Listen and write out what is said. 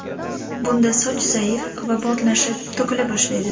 Bunda soch zaif va mo‘rtlashib, to‘kila boshlaydi.